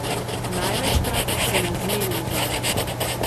Največkrat se ne zmenim zanje.